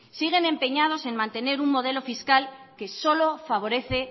siguen empeñados en mantener un modelo fiscal que solo favorece